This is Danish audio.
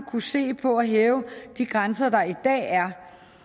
kunne se på at hæve de grænser der i dag er